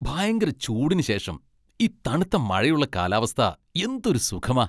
ഭയങ്കര ചൂടിനു ശേഷം, ഈ തണുത്ത മഴയുള്ള കാലാവസ്ഥ എന്തൊരു സുഖമാ .